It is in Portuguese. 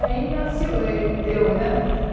Aí, nasci eu, né?